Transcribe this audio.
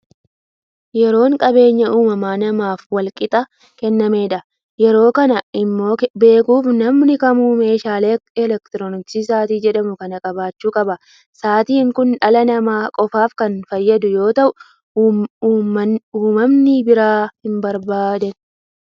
Yeroon qabeenya nama maraaf wal qixa kennamedha. Yeroo kana immoo beekuuf namni kamuu meeshaa elektirooniksii sa'aatii jedhamu kana qabaachuu qaba. Sa'aatiin kun dhala namaa qofaaf kan fayyadu yoo ta'u, uumamni biraan hin barbaadan.